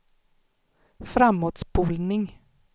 framåtspolning